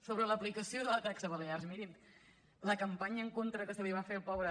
sobre l’aplicació de la taxa a les balears mirin la campanya en contra que se li va fer al pobre